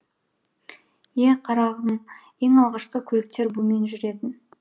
ее қарағым ең алғашқы көліктер бумен жүретін